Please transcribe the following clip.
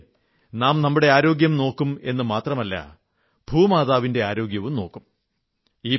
ഇതിലൂടെ നാം നമ്മുടെ ആരോഗ്യം നോക്കുമെന്നു മാത്രമല്ല ഭൂമാതാവിന്റെ ആരോഗ്യവും നോക്കും